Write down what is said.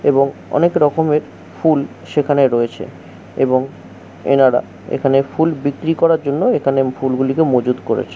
এবং অনেক রকমের ফুল সেখানে রয়েছে। এবং এনারা এখানে ফুল বিক্রি করার জন্য এখানে ফুলগুলিকে মজুদ করেছে।